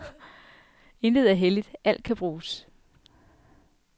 Intet er helligt, alt kan bruges.